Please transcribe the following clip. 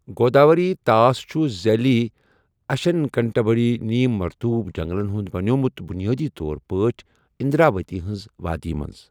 گوداوری طاس چھُ ذیلی اشنکٹبندیی، نیٖم مرطوب جنگلن ہُنٛد بَنیومُت بنیٲدی طور پٲٹھۍ اندراوتی ہنٛز وادی منٛز۔